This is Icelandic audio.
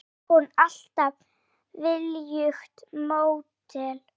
Var hún alltaf viljugt módel?